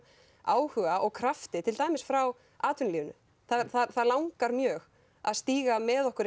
áhuga og krafti til dæmis frá atvinnulífinu það langar mjög að stíga með okkur